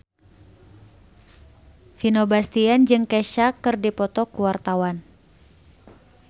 Vino Bastian jeung Kesha keur dipoto ku wartawan